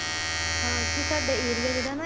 ਹਾਂ ਕੀ ਸਾਡਾ area ਜਿਹੜਾ ਨਾ